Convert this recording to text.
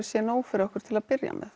sé nóg fyrir okkur til að byrja með